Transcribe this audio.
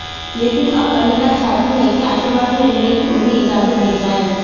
लेकिन अब अनीता चाहती हैं कि आशीर्वाद में रहने की उन्हें इजाजत दी जाए